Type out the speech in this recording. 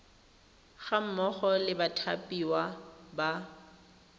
ga mmogo le bathapiwa ba